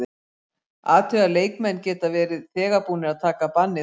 Athugið að leikmenn geta verið þegar búnir að taka bannið út.